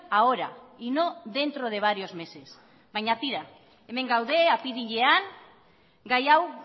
ahora y no dentro de varios meses baina tira hemen gaude apirilean gai hau